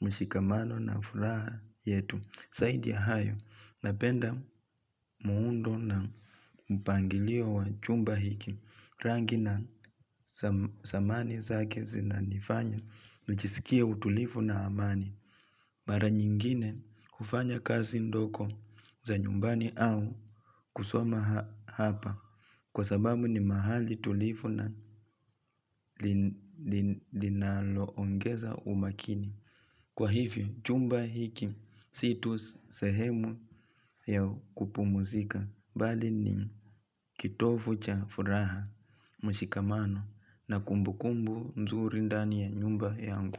mshikamano na furaha yetu saidi ya hayo napenda muundo na mpangilio wa chumba hiki Rangi na samani zake zinanifanya nijisikia utulifu na amani bara nyingine kufanya kazi ndoko za nyumbani au kusoma hapa Kwa sababu ni mahali tulifuna linaloongeza umakini Kwa hivi chumba hiki situ sehemu ya kupu muzika Bali ni kitofu cha furaha mshikamano na kumbukumbu mzuri ndani ya nyumba yangu.